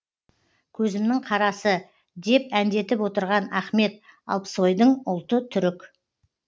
көзімінің қарасы деп әндетіп отырған ахмет алпсойдың ұлты түрік